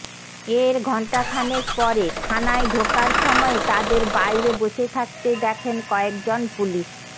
এর ঘণ্টাখানেক পরে থানায় ঢোকার সময়ে তাঁদের বাইরে বসে থাকতে দেখেন কয়েক জন পুলিশ